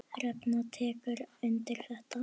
Hrefna tekur undir þetta.